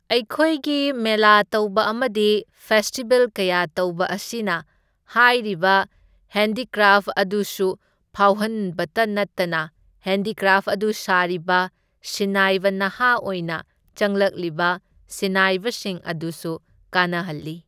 ꯑꯩꯈꯣꯏꯒꯤ ꯃꯦꯂꯥ ꯇꯧꯕ ꯑꯃꯗꯤ ꯐꯦꯁꯇꯤꯚꯦꯜ ꯀꯌꯥ ꯇꯧꯕ ꯑꯁꯤꯅ ꯍꯥꯏꯔꯤꯕ ꯍꯦꯟꯗꯤꯀ꯭ꯔꯥꯐ ꯑꯗꯨꯁꯨ ꯐꯥꯎꯍꯟꯕꯇ ꯅꯠꯇꯅ ꯍꯦꯟꯗꯤꯀ꯭ꯔꯥꯐ ꯑꯗꯨ ꯁꯥꯔꯤꯕ ꯁꯤꯟꯅꯥꯏꯕ ꯅꯍꯥ ꯑꯣꯏꯅ ꯆꯪꯂꯛꯂꯤꯕ ꯁꯤꯟꯅꯥꯏꯕꯁꯤꯡ ꯑꯗꯨꯁꯨ ꯀꯥꯟꯅꯍꯜꯂꯤ꯫